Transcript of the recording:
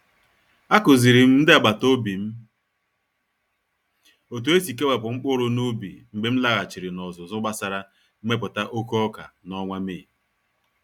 A Kụzirim ndị agbata obi m otu esi kewapụ mkpụrụ n’ubi mgbe m laghachiri n'ọzụzụ gbasara mmepụta oke oka n'ọnwa Mee.